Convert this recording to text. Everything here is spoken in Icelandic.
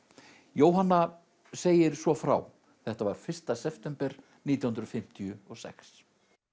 Jóhanna segir svo frá þetta var fyrsta september nítján hundruð fimmtíu og sex